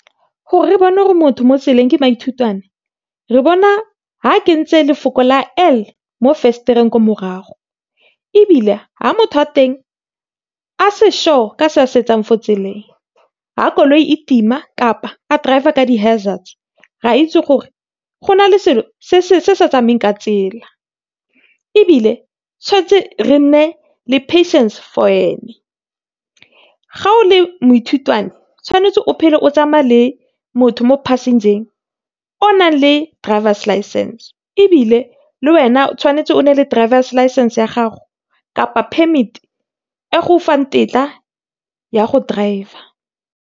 Gore re bone gore motho mo tseleng ke maithutwane, re bona ha kentse lefoko la L mo venster-eng ko morago, ebile ha motho wa teng a se sure ka se a se etsang fo tseleng. Ha koloi e tima, kapa a driver ka di hazards, re a itse gore go na le selo , se sa tsamayeng ka tsela. Ebile tshwantse re nne le patience for ene. Ga o le moithutwane, tshwanetse o phele o tsamaya le motho mo passenger-eng, o nang le driver's licence. Ebile, le wena o tshwanetse go nna le driver's licence-e ya gago kapa permit-e, e go fang tetla ya go driver.